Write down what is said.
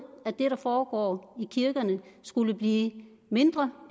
at det der foregår i kirkerne skulle blive mindre